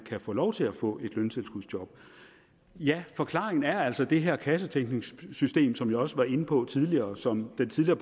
kan få lov til at få et løntilskudsjob ja forklaringen er altså det her kassetænkningssystem som jeg også var inde på tidligere som den tidligere